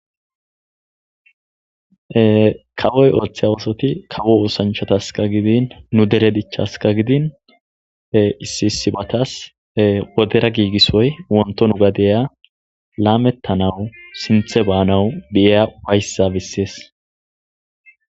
kawoy ooththey a wosoti kawo usanchataska gidin nu dere dichaska gidin issi issibatas wodera giigisoy wonto nu gadeya laamettanawu sinthe baanawu di7eya wayssa bissees